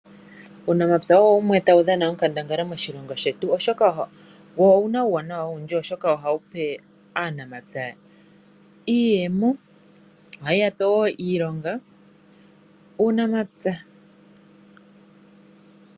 Uunamapya owo wumwe tawu dhana onkandangala moshilongo shetu oshoka owuna uuwanawa owundji. Oha wupe aanamapya iiyemo niilonga.